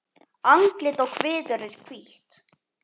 Andlit og kviður er hvítt.